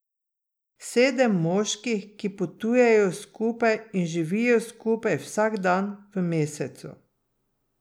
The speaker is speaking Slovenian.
Sedem moških, ki potujejo skupaj in živijo skupaj vsak dan v mesecu.